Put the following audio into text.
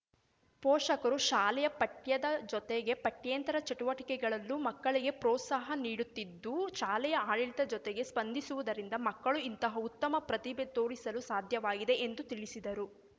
ಪೋಷಕರು ಶಾಲೆಯ ಪಠ್ಯದ ಜೊತೆಗೆ ಪಠ್ಯೇತರ ಚಟುವಟಿಕೆಗಳಲ್ಲೂ ಮಕ್ಕಳಿಗೆ ಪ್ರೋತ್ಸಾಹ ನೀಡುತ್ತಿದ್ದು ಶಾಲೆಯ ಆಡಳಿತದ ಜೊತೆಗೆ ಸ್ಪಂಧಿಸುವುದರಿಂದ ಮಕ್ಕಳು ಇಂತಹ ಉತ್ತಮ ಪ್ರತಿಭೆ ತೋರಿಸಲು ಸಾಧ್ಯವಾಗಿದೆ ಎಂದು ತಿಳಿಸಿದರು